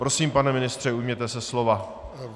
Prosím, pane ministře, ujměte se slova.